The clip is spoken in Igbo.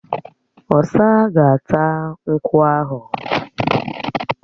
Ọ̀sa ga-áta nkwú ahụ